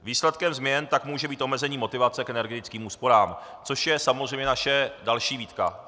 Výsledkem změn tak může být omezení motivace k energetickým úsporám, což je samozřejmě naše další výtka.